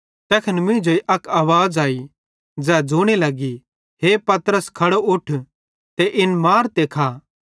तैखन मींजेई अक आवाज़ आई ज़ै ज़ोने लगी हे पतरस खड़ो उठ ते इन मार ते खा